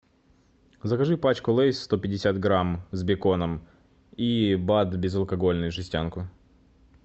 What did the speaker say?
закажи пачку лейс сто пятьдесят грамм с беконом и бад безалкогольный жестянку